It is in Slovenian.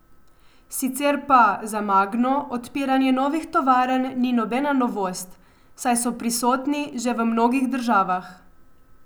Sicer pa za Magno odpiranje novih tovarn ni nobena novost, saj so prisotni že v mnogih državah.